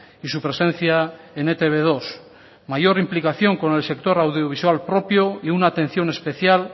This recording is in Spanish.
y su presencia en e te be dos mayor implicación con el sector audiovisual propio y una atención especial